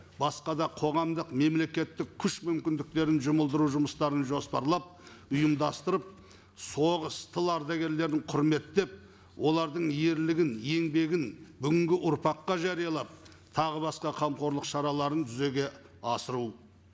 басқа да қоғамдық мемлекеттік күш мүмкіндіктерін жұмылдыру жұмыстарын жоспарлап ұйымдастырып соғыс тыл ардагерлерін құрметтеп олардың ерлігін еңбегін бүгінгі ұрпаққа жариялап тағы басқа қамқорлық шараларын жүзеге асыру